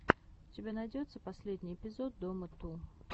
у тебя найдется последний эпизод дома ту